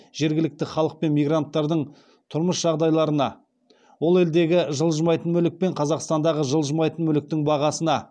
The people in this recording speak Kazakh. жергілікті халық пен мигранттардың тұрмыс жағдайларына ол елдегі жылжымайтын мүлік пен қазақстандағы жылжымайтын мүліктің бағасына